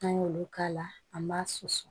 N'an y'olu k'a la an b'a susu